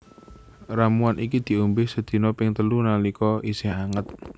Ramuan iki diombé sedina ping telu nalika isih anget